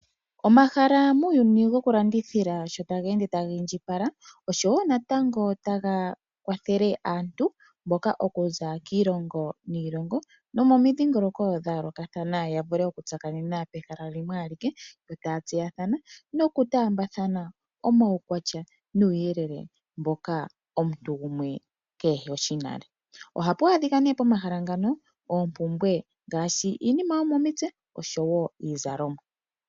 Omahala muuyuni goku landithila shoo taga ende taga indjipala, oshowo natango taga kwathele aantu mboka okuza kiilongo niilongo nomomidhingoloko dha yoolokathana ya vule oku tsakanena pehala limwe alike yo taa tseyathana noku taambathana omaukwatya nuuyelele mboka omuntu gumwe keheshi nale, ohapu adhika nee pomahala mpano oompumbwe ngaashi iinima yomomitse oshowo iizalomwa.